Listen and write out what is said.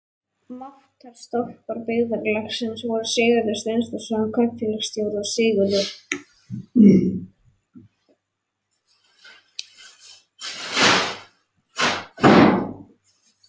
Máttar- stólpar byggðarlagsins voru Sigurður Steinþórsson kaupfélagsstjóri og Sigurður